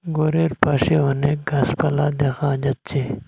ঘরের পাশে অনেক গাসপালা দেখা যাচ্ছে।